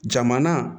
Jamana